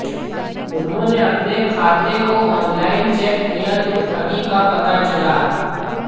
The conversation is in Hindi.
उन्होंने अपने खाते को ऑनलाइन चेक किया तो ठगी का पता चला